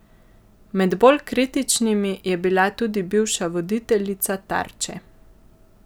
Med bolj kritičnimi je bila tudi bivša voditeljica Tarče.